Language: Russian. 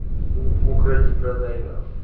у укради продай нахуй